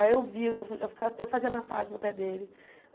Aí eu via, eu eu fica eu fazia massagem no pé dele.